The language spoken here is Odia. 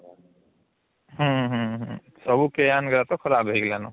ହୁଁ ହୁଁ ହୁଁ ସବୁ ତ ଖରାବ ହେଇଗଲନ